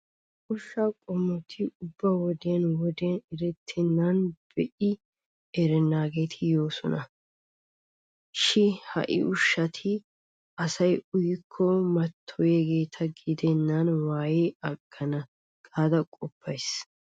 Ushshaa qommoti ubba wodiyan wodiyan erettennanne be'i erennaageeti yoosona. Shi ha ushshati asaa uyiyakko mattoyiyageeta gedennan waayidi aggana gaada qoppays.